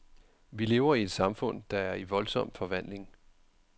Vi lever i et samfund, der er i voldsom forvandling.